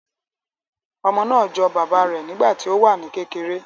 Ọmọ naa jọ baba rẹ nigbati o wa ni kekere